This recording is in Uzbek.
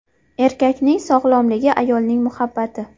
Erkakning sog‘lomligi – ayolning muhabbati!.